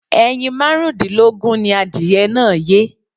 Ẹyin márùn-ún dínlógún ni adìyẹ náà yé.